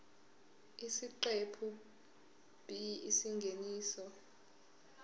isiqephu b isingeniso